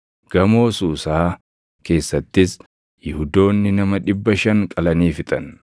Gamoo Suusaa keessattis Yihuudoonni nama dhibba shan qalanii fixan.